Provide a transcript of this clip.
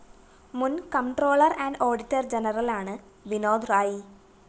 മുന്‍ comptroller and auditor ജനറലാണ് വിനോദ് റായി